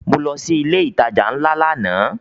Mo lọ sí ilé ìtajà ńlá lánàá